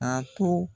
A to